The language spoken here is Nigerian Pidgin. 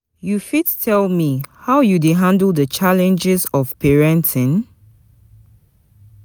You fit tell me how you dey handle di challenges of parenting?